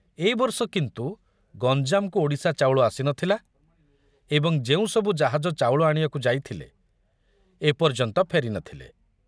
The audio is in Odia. ଏ ବର୍ଷ କିନ୍ତୁ ଗଞ୍ଜାମକୁ ଓଡ଼ିଶା ଚାଉଳ ଆସି ନ ଥିଲା ଏବଂ ଯେଉଁ ସବୁ ଜାହାଜ ଚାଉଳ ଆଣିବାକୁ ଯାଇଥିଲେ, ଏ ପର୍ଯ୍ୟନ୍ତ ଫେରି ନଥିଲେ।